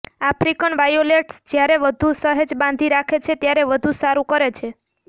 African violets જ્યારે વધુ સહેજ બાંધી રાખે છે ત્યારે વધુ સારું કરે છે